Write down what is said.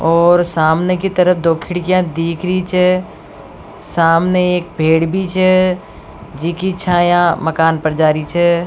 और सामने की तरफ दो खिड़किया दीख री छ सामने एक पेड़ भी छ जिकी छाया मकान पर जा री छ।